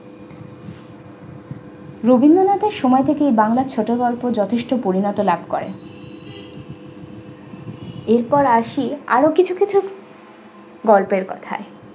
রবীন্দ্রনাথের সময় থেকে বাংলা ছোট গল্প যথেষ্ট পরিণত লাভ করে এরপর আসি আরো কিছু কিছু গল্পের কথায়।